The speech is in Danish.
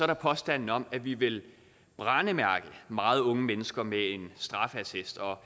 der påstanden om at vi vil brændemærke meget unge mennesker med en straffeattest og